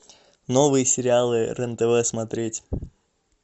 новые сериалы рен тв смотреть